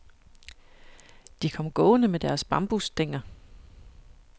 De kom gående med deres bambusstænger.